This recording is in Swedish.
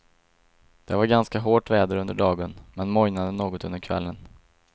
Det var ganska hårt väder under dagen, men mojnade något under kvällen.